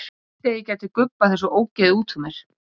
Ég vildi að ég gæti gubbað þessu ógeði út úr mér.